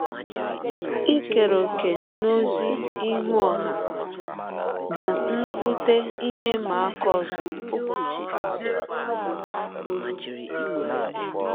Ikere ọ̀kè n’ọzi ihụ ọha bụ nnụkwụte ihe ịma aka ọzọ.